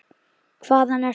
Hvaðan ertu?